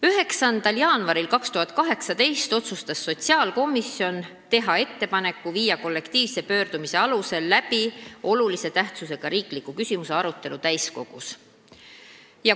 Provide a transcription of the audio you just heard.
9. jaanuaril 2018 otsustas sotsiaalkomisjon teha ettepaneku viia kollektiivse pöördumise alusel läbi olulise tähtsusega riikliku küsimuse arutelu täiskogus.